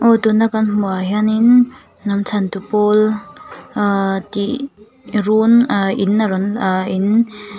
aw tuna kan hmuh ah hianin hnam chhantu pawl ah tih run ah in a rawn a in.